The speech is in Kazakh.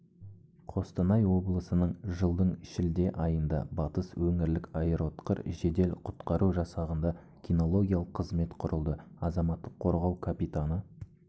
қостанай облысының жылдың шілде айында батыс өңірлік аэроұтқыр жедел-құтқару жасағында кинологиялық қызмет құрылды азаматтық қорғау капитаны